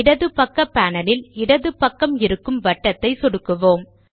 இடது பக்க பானலில் இடது பக்கம் இருக்கும் வட்டத்தை சொடுக்குவோம்